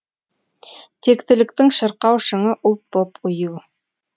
тектіліктің шырқау шыңы ұлт боп ұю